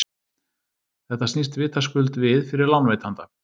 Þetta snýst vitaskuld við fyrir lánveitanda.